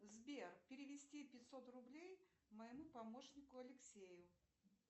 сбер перевести пятьсот рублей моему помощнику алексею